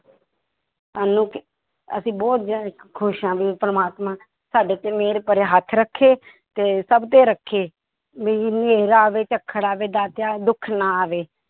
ਸਾਨੂੰ ਕ~ ਅਸੀਂ ਬਹੁਤ ਜ਼ਿਆ~ ਖ਼ੁਸ਼ ਹਾਂ ਵੀ ਪ੍ਰਮਾਤਮਾ ਸਾਡੇ ਤੇ ਮਿਹਰ ਭਰਿਆ ਹੱਥ ਰੱਖੇ ਤੇ ਸਭ ਤੇ ਰੱਖੇ, ਵੀ ਹਨੇਰ ਆਵੇ ਝੱਖੜ ਆਵੇ ਦਾਤਿਆ ਦੁੱਖ ਨਾ ਆਵੇ।